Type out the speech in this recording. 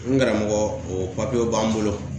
N karamɔgɔ o papiyew b'an bolo .